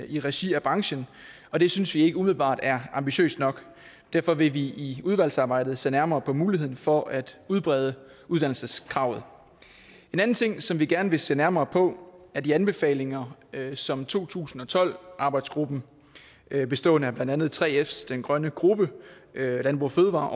i regi af branchen og det synes vi ikke umiddelbart er ambitiøst nok og derfor vil vi i udvalgsarbejdet se nærmere på muligheden for at udbrede uddannelseskravet en anden ting som vi gerne vil se nærmere på er de anbefalinger som to tusind og tolv arbejdsgruppen bestående af blandt andet 3fs den grønne gruppe landbrug fødevarer